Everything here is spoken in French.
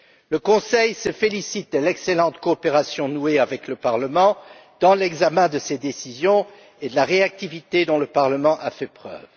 Le Conseil se félicite de l'excellente coopération nouée avec le Parlement dans l'examen de ces décisions et de la réactivité dont le Parlement a fait preuve.